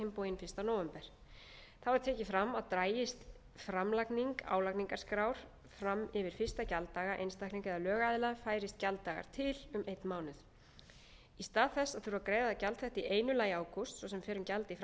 bóginn fyrsta nóvember þá er tekið fram að dragist framlagning álagningarskrár fram yfir fyrsta gjalddaga einstaklinga eða lögaðila færist gjalddagar til um einn mánuð í stað þess að þurfa að greiða gjald þetta í einu lagi í ágúst og gjald í framkvæmdasjóð aldraðra